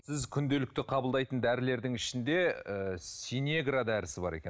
сіз күнделікті қабылдайтын дәрілердің ішінде ы синегра дәрісі бар екен